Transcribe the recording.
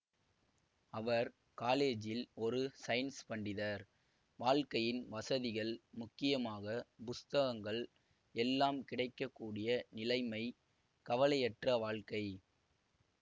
அவர் காலேஜில் ஒரு ஸைன்ஸ் பண்டிதர் வாழ்க்கையின் வசதிகள் முக்கியமாக புஸ்தகங்கள் எல்லாம் கிடைக்க கூடிய நிலைமை கவலையற்ற வாழ்க்கை